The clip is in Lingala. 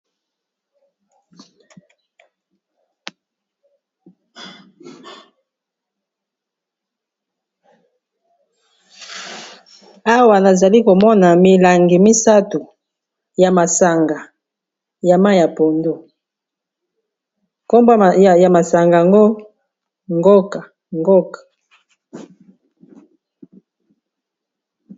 Awa nazali komona milangi misato ya masanga ya mayi ya pondu kombo ya masanga ango ngoka.